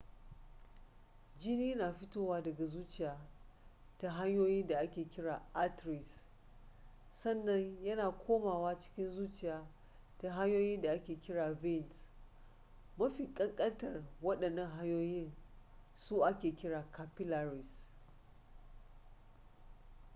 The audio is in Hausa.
jini na fitowa daga zuciya ta hanyoyin da ake kira arteries sannan ya na komawa cikin zuciya ta hanyoyin da ake kira veins mafikan kantar wadannan hanyoyi su ake kira da capillaries